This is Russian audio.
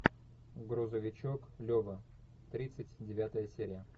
грузовичок лева тридцать девятая серия